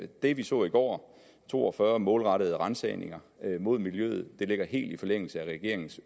det vi så i går to og fyrre målrettede ransagninger mod miljøet ligger helt i forlængelse af regeringens